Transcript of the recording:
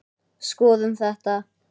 Skoðum þetta